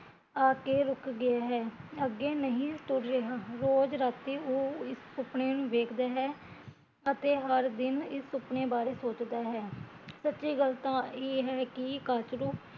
ਆ ਕੇ ਰੁਕ ਗਏ ਹੈ ਅੱਗੇ ਨਹੀਂ ਤੁਰ ਰਿਹਾ ਰੋਜ਼ ਅਤੇ ਉਹ ਇਸ ਸੁਪਨੇ ਨੂ ਵੇਖਦੇ ਹੈ ਅਤੇ ਹਰ ਦਿਨ ਇਸ ਸੁਪਨੇ ਬਾਰੇ ਸੋਚਦਾ ਹੈ ਸੱਚੀ ਗੱਲ ਤਾਂ ਇਹ ਹੈ ਕੀ ਕਾਚਰੁ